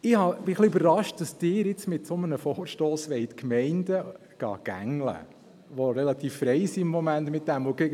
Ich bin ein bisschen überrascht, dass Sie jetzt die Gemeinden, die im Moment diesbezüglich relativ frei sind, mit einem solchen Vorstoss gängeln wollen.